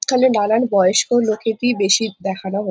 এখানে নানান বয়স্ক লোকে কেই বেশি দেখানো হয়ে--